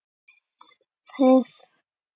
Það er frábær fæða.